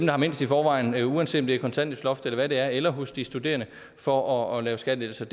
har mindst i forvejen uanset grund af kontanthjælpsloft eller hvad det er eller hos de studerende for at lave skattelettelser